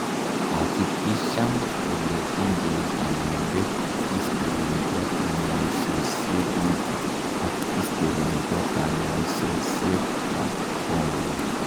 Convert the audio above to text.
hakikishan ile ingen kanyoindet history nebo kanyaisosiekguk ak history nebo kanyaisosiek ab kongung